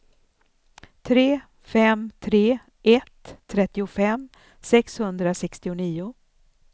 tre fem tre ett trettiofem sexhundrasextionio